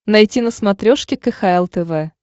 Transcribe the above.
найти на смотрешке кхл тв